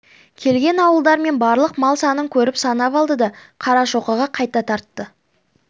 келген ауылдар мен барлық мал санын көріп санап алды да қарашоқыға қайта тартты